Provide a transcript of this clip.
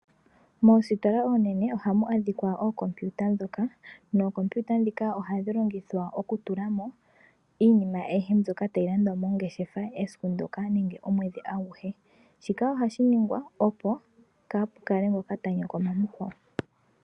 Moositola oonene ohamu adhika ookompiyuta, nookompiyuta ndhika ohadhi longithwa oku tulamo iinima ayihe mbyoka tayi landwa mongeshefa esiku ndoka nenge omwedhi aguhe. Shika ohashi ningwa opo kapukale ngoka ta nyokoma mukwawo.